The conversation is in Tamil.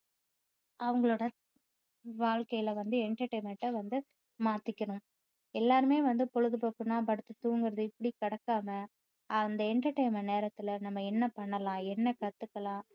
அவங்களோட வாழ்க்கையில வந்து entertainment அ வந்து மாத்திக்கணும் எல்லாருமே வந்து பொழுதுபோக்குன்னா படுத்து தூங்குறது இப்படி கடத்தாம அந்த entertainment நேரத்துல நம்ம என்ன பண்ணலாம் என்ன கத்துக்கலாம்